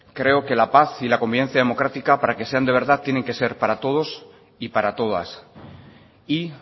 creo que la paz y la convivencia democrática para que sean de verdad tienen que ser para todos y para todas y